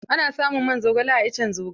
Ana samun man zogale a iccen zogale.